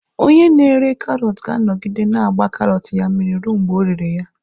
Onye na-ere karọt ga-anọgide na-agba karọt ya mmiri ruo mgbe ọ rere ya.